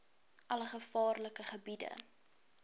alle gevaarlike gebiede